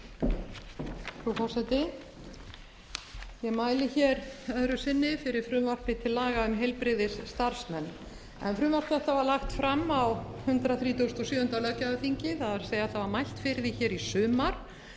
frú forseti ég mæli hér öðru sinni fyrir frumvarpi til laga um heilbrigðisstarfsmenn frumvarp þetta var lagt fram á hundrað þrítugasta og sjöunda löggjafarþingi það er það var mælt fyrir því hér í sumar og